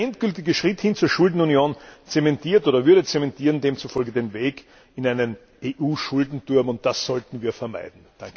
Dieser endgültige Schritt hin zur Schuldenunion zementiert oder würde zementieren demzufolge den Weg in einen EU Schuldenturm, und das sollten wir vermeiden.